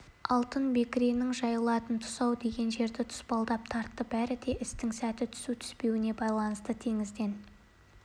алтын бекіренің жайылатын тұсы-ау деген жерді тұспалдап тартты бәрі де істің сәті түсу түспеуіне байланысты теңізден